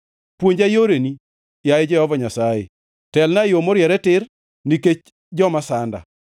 Puonja yoreni, yaye Jehova Nyasaye; telna e yo moriere tir, nikech joma sanda.